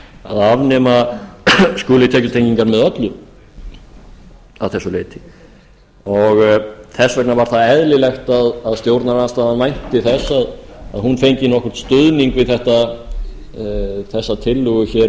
að afnema skuli tekjutengingar með öllu að þessu leyti þess vegna var það eðlilegt að stjórnarandstaðan vænti þess að hún fengi nokkurn stuðning við þessa tillögu við